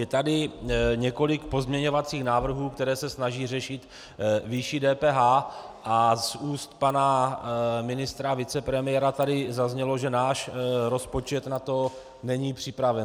Je tady několik pozměňovacích návrhů, které se snaží řešit výši DPH, a z úst pana ministra a vicepremiéra tady zaznělo, že náš rozpočet na to není připraven.